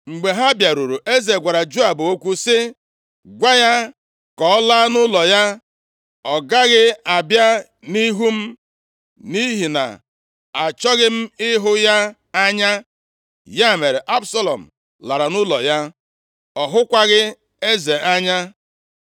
Mgbe ha bịaruru, eze gwara Joab okwu sị, “Gwa ya ka ọ laa nʼụlọ ya. Ọ gaghị abịa nʼihu m, nʼihi na-achọghị m ịhụ ya anya.” Ya mere, Absalọm lara nʼụlọ ya. Ọ hụkwaghị eze anya.